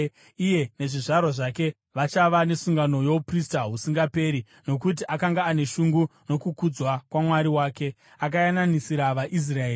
Iye nezvizvarwa zvake vachava nesungano youprista husingaperi, nokuti akanga ane shungu nokukudzwa kwaMwari wake, akayananisira vaIsraeri.”